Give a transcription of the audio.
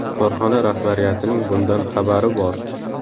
Korxona rahbariyatining bundan xabari bor.